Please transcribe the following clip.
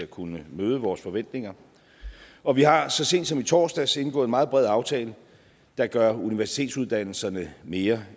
kunne møde vores forventninger og vi har så sent som i torsdags indgået en meget bred aftale der gør universitetsuddannelserne mere